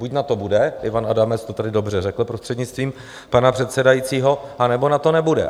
Buď na to bude - Ivan Adamec to tady dobře řekl, prostřednictvím pana předsedajícího - anebo na to nebude.